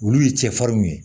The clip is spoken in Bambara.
Olu ye cɛfarinw ye